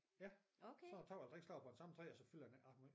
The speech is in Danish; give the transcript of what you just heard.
Ja så tager man 3 slags på det samme træ så fylder den ikke ret meget